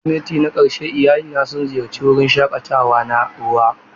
Kirsimati na ƙarshe iyalina sun ziyarci wurin shakatawa na ruwa.